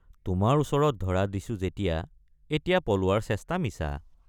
তোমাৰ ওচৰত ধৰা দিছোঁ যেতিয়৷ এতিয়া পলোৱাৰ চেষ্টা মিছা।